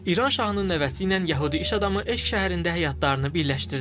İran şahının nəvəsi ilə yəhudi iş adamı eşq şəhərində həyatlarını birləşdirdi.